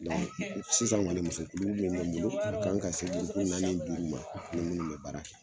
sisan gɔni muso mun me n bolo, a kan ka se naani duuru ma, ni minnu bɛ baara kɛ.